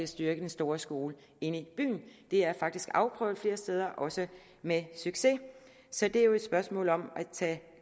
styrke den store skole inde i byen det er faktisk blevet afprøvet flere steder også med succes så det er jo et spørgsmål om at tage